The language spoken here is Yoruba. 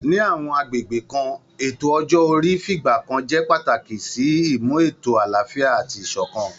Ní àwọn agbègbè kan, ètò ọjọ́ orí fìgbà kan jẹ́ pàtàkì sí ìmú ètò àlàáfíà àti ìṣọ̀kan